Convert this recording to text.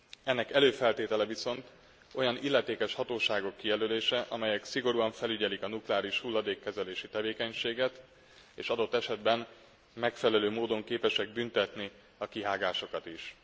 Ennek előfeltétele viszont olyan illetékes hatóságok kijelölése, amelyek szigorúan felügyelik a nukleáris hulladékkezelési tevékenységet, és adott esetben megfelelő módon képesek büntetni a kihágásokat is.